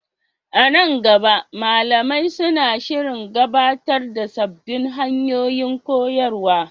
A nan gaba, malamai suna shirin gabatar da sabbin hanyoyin koyarwa.